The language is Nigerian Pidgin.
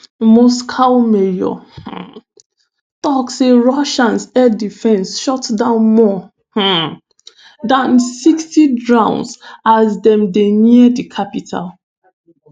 moscow mayor um tok say russian air defence shoot down more um dan 60 drones as dem dey near di capital.